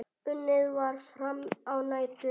Unnið var fram á nætur.